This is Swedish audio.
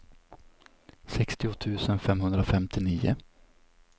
sextio tusen femhundrafemtionio